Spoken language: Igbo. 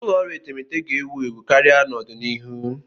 Ụlọ ọrụ etemeete ga-ewu ewu karịa n'ọdịnihu.